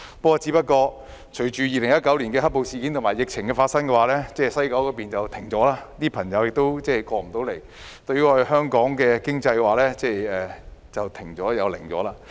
不過，由於發生2019年"黑暴"事件及爆發疫情，西九龍站運作停頓，內地旅客來不了香港，香港經濟亦漸停頓。